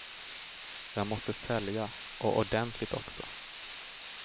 Jag måste sälja, och ordentligt också.